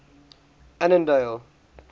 annandale